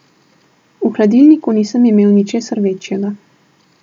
V hladilniku nisem imel ničesar večjega.